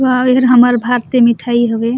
वाओ एहर हमर भारतीय मिठाई हवे--